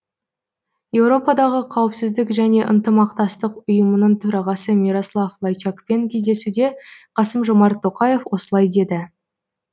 еуропадағы қауіпсіздік және ынтымақтастық ұйымының төрағасы мирослав лайчакпен кездесуде қасым жомарт тоқаев осылай деді